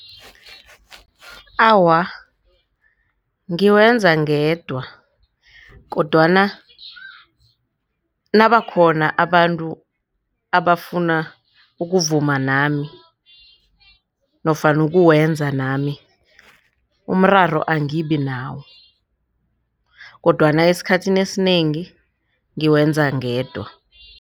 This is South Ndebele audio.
Awa, ngiwenza ngedwa kodwana nabakhona abantu abafuna ukuvuma nami nofana ukuwenza nami umraro angibi nawo kodwana esikhathini esinengi ngiwenza ngedwa.